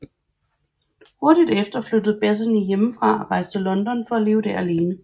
Hurtigt efter flyttede Bettany hjemmefra og rejste til London for at leve der alene